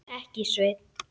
Ekki, Sveinn.